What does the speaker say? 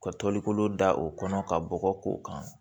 Ka toli kolo da o kɔnɔ ka bɔgɔ k'o kan